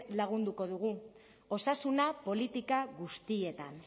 lagunduko dugu osasuna politika guztietan